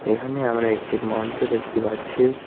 এখানে আমরা একটি মঞ্চ দেখতে পাচ্ছি।